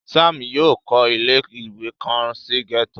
Sam yóò kọ ile-iwe kan si gẹto